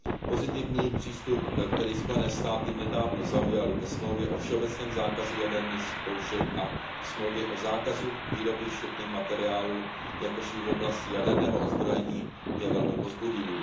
Pozitivní přístup, který USA nedávno zaujaly ke Smlouvě o všeobecném zákazu jaderných zkoušek a Smlouvě o zákazu výroby štěpných materiálů, jakož i v oblasti jaderného odzbrojení, je velmi povzbudivý.